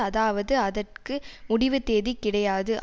அதாவது அதற்கு முடிவு தேதி கிடையாது